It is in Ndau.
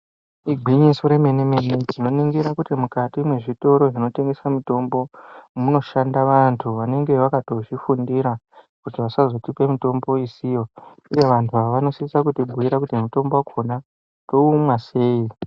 Igwinyiso remene-mene tinoningira kuti mukati mezvitoro zvinotengesa mitombo munoshanda vantu vanenge vakatozvifundira kuti vasazotipa mutombo isiyo uye vantu ava vanosisa kuti bhuyira kuti mitombo yacho toimwa sei.